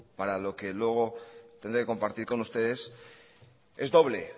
para lo que luego tendré que compartir con ustedes es doble